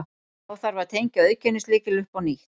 Þá þarf að tengja auðkennislykil upp á nýtt.